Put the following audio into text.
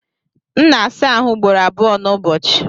M na-asa ahụ ugboro abụọ n'ụbọchị.